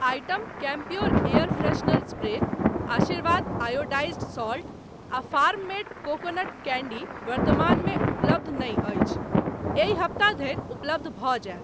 Item Campure air freshener spray, Aashirvaad iodised salt आ farm made coconut candy वर्तमानमे उपलब्ध नहि अछि, एहि हप्ता धरि उपलब्ध भ जायत।